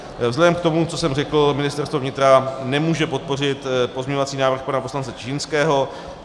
Vzhledem k tomu, co jsem řekl, Ministerstvo vnitra nemůže podpořit pozměňovací návrh pana poslance Čižinského.